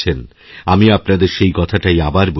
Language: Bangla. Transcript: আমি আপনাদের সেই কথাটাই আবার বলছি